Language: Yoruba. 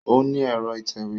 Ó ní ẹ̀rọ ìtẹ̀wé